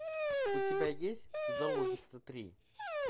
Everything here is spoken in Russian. у тебя есть заложница три